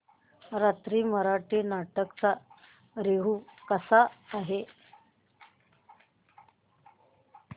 नवीन मराठी नाटक चा रिव्यू कसा आहे